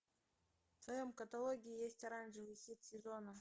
в твоем каталоге есть оранжевый хит сезона